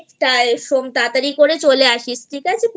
তাড়াতাড়ি করে চলে আসিস ঠিক আছে